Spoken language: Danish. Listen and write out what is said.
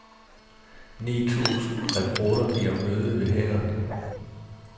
Ni tusind rekrutter giver møde ved hæren.